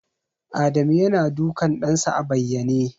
Adamu yana dukan ɗansa a bayyane.